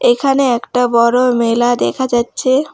এখানে একটা বড়ো মেলা দেখা যাচ্ছে।